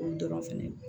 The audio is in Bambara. O dɔrɔn fɛnɛ